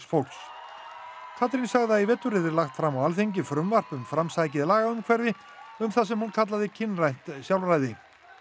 fólks Katrín sagði að í vetur yrði lagt fram á Alþingi frumvarp um lagaumhverfi um það sem hún kallaði kynrænt sjálfræði